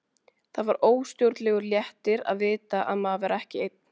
Það var óstjórnlegur léttir að vita að maður var ekki einn.